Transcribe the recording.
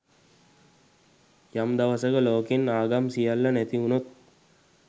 යම් දවසක ලෝකෙන් ආගම් සියල්ල නැති වුනොත්